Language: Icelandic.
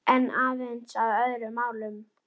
Var af Birni kominn Sveinn.